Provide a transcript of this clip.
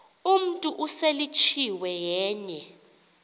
umntu oseletyiwe yenye